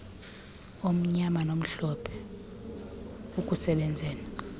omnyama nomhlophe ukusebenzela